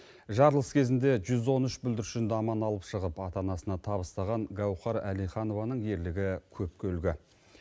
жарылыс кезінде жүз он үш бүлдіршінді аман алып шығып ата анасына табыстаған гаухар әлиханованың ерлігі көпке үлгі